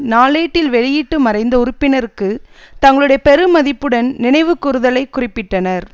நாளேட்டில் வெளியிட்டு மறைந்த உறுப்பினருக்கு தங்களுடைய பெருமதிப்புடன் நினைவு கூருதலை குறிப்பிட்டனர்